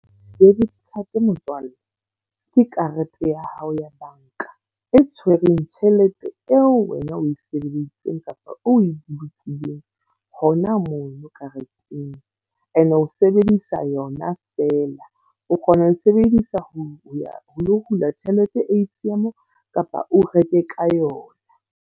Debit card motswalle, ke karete ya hao ya banka e tshwereng tjhelete eo wena o e sebeditseng kapa o e bolokileng hona mo no kareteng. E ne o sebedisa yona feela, o kgona ho sebedisa ho ya ho hula tjhelete A_T_M kapa o reke ka yona.